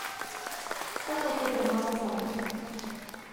Vsak lahko premaga vsakega.